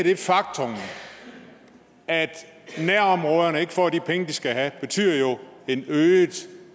det faktum at nærområderne ikke får de penge de skal have betyder jo et øget